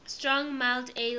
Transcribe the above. strong mild ales